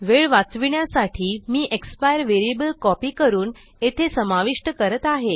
वेळ वाचविण्यासाठी मी एक्सपायर व्हेरिएबल कॉपी करून येथे समाविष्ट करत आहे